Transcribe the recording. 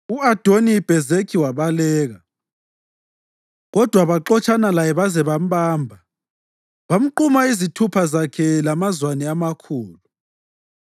U-Adoni-Bhezekhi wabaleka, kodwa baxotshana laye baze bambamba, bamquma izithupha zakhe lamazwane amakhulu.